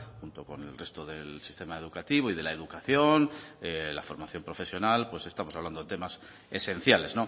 junto con el resto del sistema educativo y de la educación la formación profesional pues estamos hablando temas esenciales